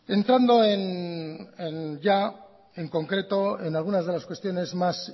entrando en ya en concreto en algunas de las cuestiones más